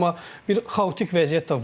amma bir xaotik vəziyyət də var idi.